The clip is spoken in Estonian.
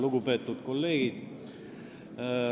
Lugupeetud kolleegid!